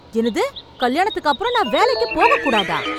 என்னது கல்யாணத்துக்கு அப்புறம் நான் வேலைக்குப் போகக் கூடாதா?